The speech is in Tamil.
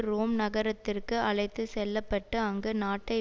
ரோம் நகரத்திற்கு அழைத்து செல்ல பட்டு அங்கு நாட்டை